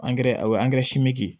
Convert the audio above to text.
o ye simi ye